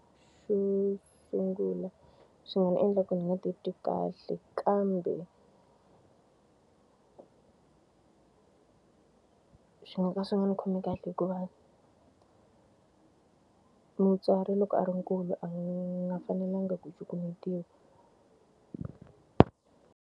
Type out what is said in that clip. Xo sungula swi nga ni endla ku ni nga titwi kahle kambe xi nga ka swi nga ndzi khomi kahle hikuva mutswari loko a ri nkulu a nga fanelangi ku cukumetiwa.